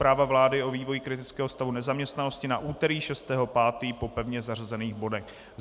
Zpráva vlády o vývoji kritického stavu nezaměstnanosti na úterý 6. 5. po pevně zařazených bodech.